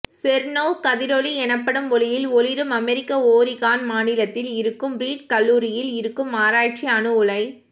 செர்னோர்வ் கதிரொளி எனப்படும் ஒளியில் ஒளிரும் அமெரிக்க ஓரிகான் மாநிலத்தில் இருக்கும் ரீட் கல்லூரியில் இருக்கும் ஆராய்ச்சி அணு உலை